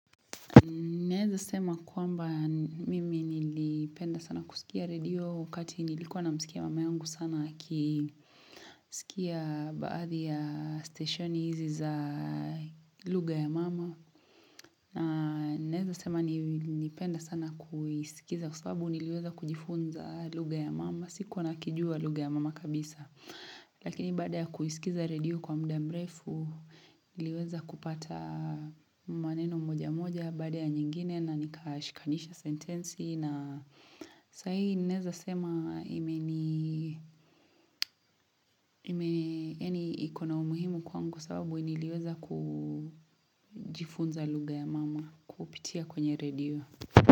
Naeza sema kwamba mimi nilipenda sana kusikia redio wakati nilikuwa namsikia mama yangu sana akisikia baadhi ya station izi za lugha ya mama. Na naeza sema nilipenda sana kusikiza kwa sababu niliweza kujifunza lugha ya mama, sikuwa na kijua lugha ya mama kabisa. Lakini baada ya kuisikiza radio kwa muda mrefu iliweza kupata maneno moja moja baada ya nyingine na nikashikanisha sentensi na sahi ninaeza sema imeni ikona umuhimu kwangu sababu niliiweza kujifunza lugha ya mama kupitia kwenye radio.